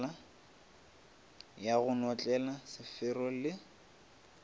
ya go notlela sefero le